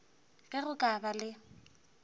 ge go ka ba le